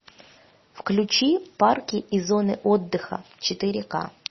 включи парки и зоны отдыха четыре ка